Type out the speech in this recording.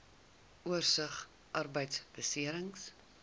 oorsig arbeidbeserings